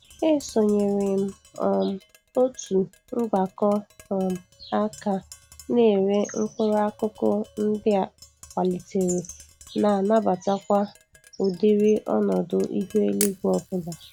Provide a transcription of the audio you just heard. Esonyere m um otu mgbakọ um aka na-ere mkpụrụ akụkụ ndị a kwalitere na-anabatakwa ụdịrị ọnọdụ ihu eluigwe ọbụla.